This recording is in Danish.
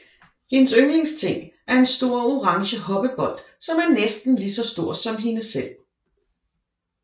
Hendes yndlingsting er en stor orange hoppebold som er næsten lige så stor som hende selv